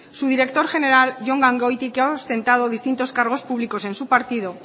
su director general jon gangoiti que ha ostentado distintos cargos públicos en su partido